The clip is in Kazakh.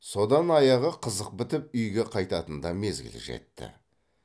содан аяғы қызық бітіп үйге қайтатын да мезгіл жетті